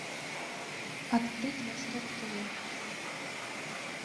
открыть восток тв